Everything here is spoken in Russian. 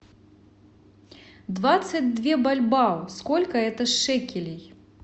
двадцать две бальбоа сколько это шекелей